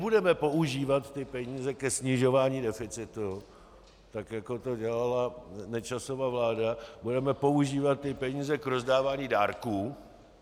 Nebudeme používat ty peníze ke snižování deficitu, tak jako to dělala Nečasova vláda, budeme používat ty peníze k rozdávání dárků.